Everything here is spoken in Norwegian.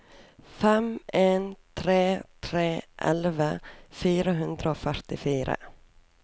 fem en tre tre elleve fire hundre og førtifire